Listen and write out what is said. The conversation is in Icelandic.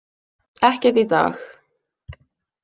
Ekkert í dag.